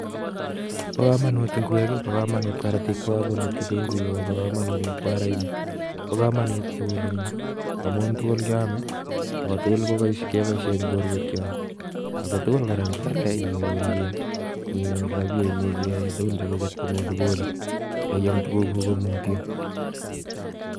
Bo kamanut ingwek, bo kamanut karatiek, bo kamanut kitunguik akobo kamanut mkwaraenik. Bo kamanut tugul eng yu amun tugul keame ako tugul kepoishen eng borwek chok ako tugul kora, ngialde inyoru rapia, ko kinyoru rapia komuch iyae tugun chekuket ko pole pole ak iaam tuguk ko mutyo.